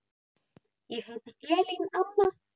Ég heiti Elín Anna.